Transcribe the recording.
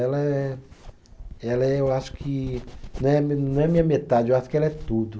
Ela é. Ela é, eu acho que. Não é, não é minha metade, eu acho que ela é tudo.